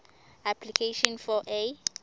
application for a